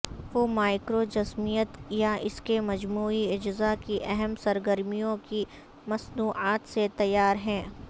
وہ مائکروجنزمیت یا اس کے مجموعی اجزاء کی اہم سرگرمیوں کی مصنوعات سے تیار ہیں